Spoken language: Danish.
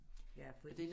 Ja for